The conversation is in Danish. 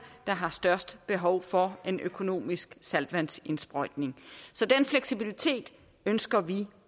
der har størst behov for en økonomisk saltvandsindsprøjtning den fleksibilitet ønsker vi